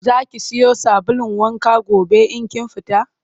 Za ki siyo sabulun wankan gobe in kin fita?